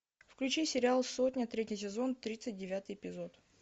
включи сериал сотня третий сезон тридцать девятый эпизод